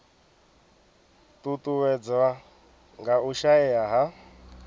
ṱuṱuwedzwa nga u shaea ha